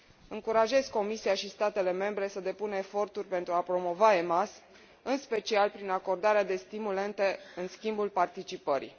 Încurajez Comisia și statele membre să depună eforturi pentru a promova EMAS în special prin acordarea de stimulente în schimbul participării.